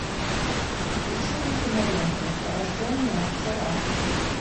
включи мне киноленту рожденная вчера